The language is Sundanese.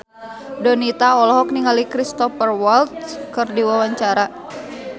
Donita olohok ningali Cristhoper Waltz keur diwawancara